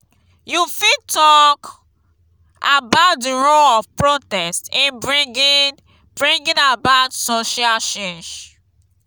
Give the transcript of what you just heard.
you fit talk about di role of protest in bringing bringing about social change.